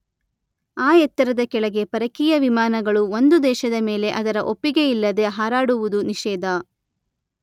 ಆ ಎತ್ತರದ ಕೆಳಗೆ ಪರಕೀಯ ವಿಮಾನಗಳು ಒಂದು ದೇಶದ ಮೇಲೆ ಅದರ ಒಪ್ಪಿಗೆಯಿಲ್ಲದೆ ಹಾರಾಡುವುದು ನಿಷೇಧ